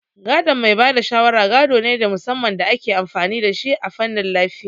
Gadon mai ba da shawara gado ne na musamman da ake amfani da shi a fannin lafiya